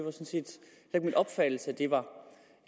er min opfattelse at